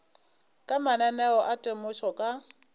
ka mananeo a temošo ka